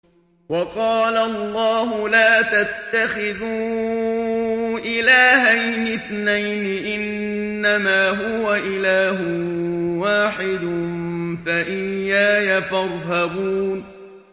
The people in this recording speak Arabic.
۞ وَقَالَ اللَّهُ لَا تَتَّخِذُوا إِلَٰهَيْنِ اثْنَيْنِ ۖ إِنَّمَا هُوَ إِلَٰهٌ وَاحِدٌ ۖ فَإِيَّايَ فَارْهَبُونِ